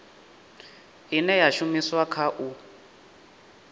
ine ya shumiswa kha u